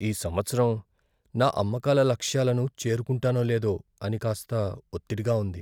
ఈ సంవత్సరం నా అమ్మకాల లక్ష్యాలను చేరుకుంటానో లేదో అని కాస్త ఒత్తిడిగా ఉంది.